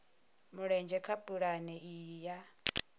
mulenzhe kha pulane iyi ya